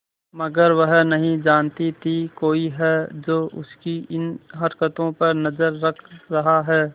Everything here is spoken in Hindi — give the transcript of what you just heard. मगर वह नहीं जानती थी कोई है जो उसकी इन हरकतों पर नजर रख रहा है